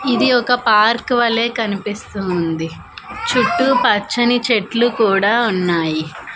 ఇది ఒక పార్క్ వలే కనిపిస్తూ ఉంది చుట్టు పచ్చని చెట్లు కూడా ఉన్నాయి.